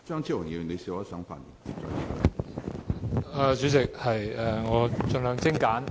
主席，我的發言會盡量精簡。